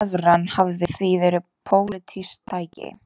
Evran hafi því verið pólitískt tæki